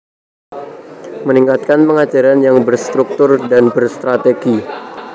Meningkatkan pengajaran yang berstruktur dan berstrategi